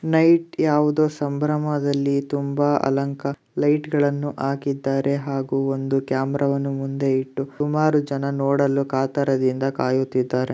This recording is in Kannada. ನೈಟ್ ಯಾವುದೋ ಸಂಭ್ರಮದಲ್ಲಿ ತುಂಬಾ ಅಲಂಕಾರ ಲೈಟ್ಗಳನ್ನು ಹಾಕಿದ್ದಾರೆ. ಹಾಗೂ ಒಂದು ಕ್ಯಾಮೆರಾ ವನ್ನು ಮುಂದೆ ಇಟ್ಟು ಸುಮಾರು ಜನರ ನೋಡಲು ಕಾತುರದಿಂದ ಕಾಯುತ್ತಿದ್ದಾರೆ.